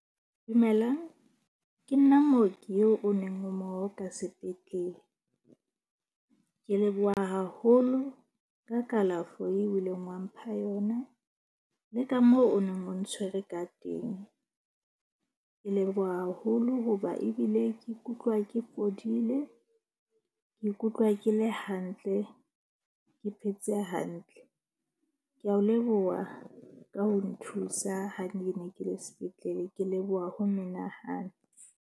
Dumelang ke nna mooki yeo o neng o mo oka sepetlele. Ke leboha haholo ka kalafo eo o ileng wa mpha yona le ka moo o neng o ntshwere ka teng. Ke leboha haholo hoba ebile ke ikutlwa ke fodile. Ke ikutlwa ke le hantle, ke phetse hantle. Ke a o leboha ka ho nthusa. Ha ne ke ne ke le sepetlele, ke leboha ho menahane.